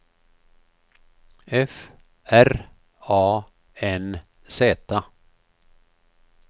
F R A N Z